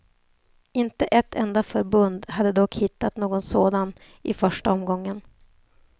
Inte ett enda förbund hade dock hittat någon sådan i första omgången.